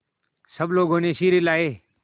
सब लोगों ने सिर हिलाए